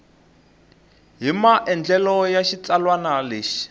hi maandlalelo ya xitsalwana lexi